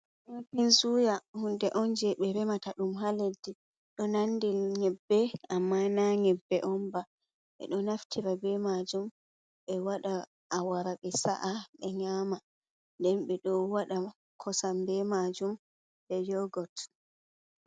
Waken suya hunde on je ɓe remata ɗum ha leddi, ɗo nandi nyebbe amma na nyebbe onba ɓe ɗo naftira be majum be waɗa awara be sa’a be nyama, nden ɓe ɗo waɗa kosam be majum be yogot.